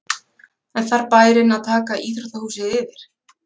En þarf bærinn að taka íþróttahúsið yfir?